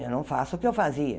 Eu não faço o que eu fazia.